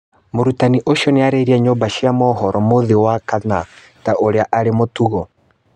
Mũrutani ũcio nĩaririe na nyumba cia mohoro mũthĩ wa kana ta ũrĩa arĩ mũtugo